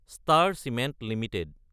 star Cement Ltd